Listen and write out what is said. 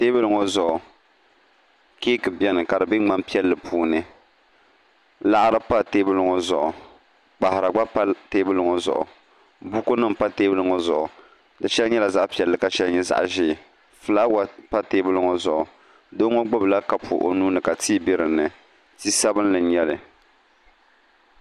Teebuli ŋo zuɣu keek biɛni ka di bɛ ŋmani piɛlli puuni laɣari pa teebuli ŋo zuɣu kpaɣara gba pa teenuli ŋo zuɣu buku ni pa teebuli ŋo zuɣu di shɛli nyɛ zaɣ piɛlli ka shɛli nyɛ zaɣ ʒiɛ fulaawa pa teebuli ŋo zuɣu doo ŋo gbubila kapu o nuuni ka tii bɛ dinni